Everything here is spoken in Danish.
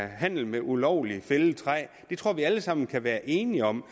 handel med ulovligt fældet træ det tror jeg vi alle sammen kan være enige om